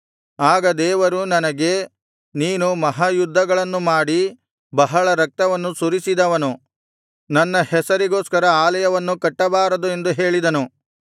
ಆಗ ದೇವರು ನನಗೆ ನೀನು ಮಹಾಯುದ್ಧಗಳನ್ನು ಮಾಡಿ ಬಹಳ ರಕ್ತವನ್ನು ಸುರಿಸಿದವನು ನನ್ನ ಹೆಸರಿಗೋಸ್ಕರ ಆಲಯವನ್ನು ಕಟ್ಟಬಾರದು ಎಂದು ಹೇಳಿದನು